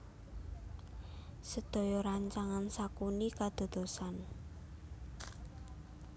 Sedaya rancangan Sakuni kadadosan